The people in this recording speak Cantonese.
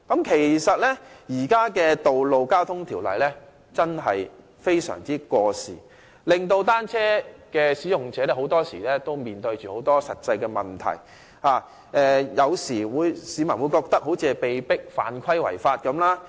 其實，現行的《道路交通條例》真的非常過時，單車使用者很多時面對實際問題，市民有時會覺得好像是被迫犯規違法般。